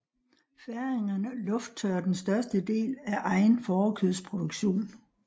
Færingerne lufttørrer den største del af egen fårekødsproduktion